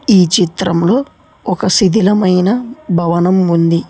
ఈ చిత్రంలో ఒక శిదిలమైన భవనం ఉంది.